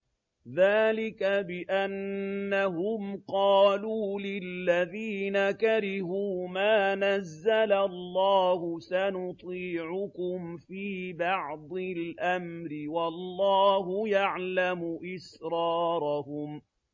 ذَٰلِكَ بِأَنَّهُمْ قَالُوا لِلَّذِينَ كَرِهُوا مَا نَزَّلَ اللَّهُ سَنُطِيعُكُمْ فِي بَعْضِ الْأَمْرِ ۖ وَاللَّهُ يَعْلَمُ إِسْرَارَهُمْ